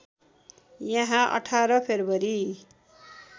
यहाँ २८ फ्रेब्रुवरी